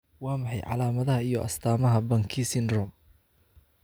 Waa maxay calaamadaha iyo astaamaha Banki syndrome?